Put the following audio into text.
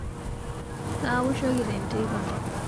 Kawoshoki tenteipa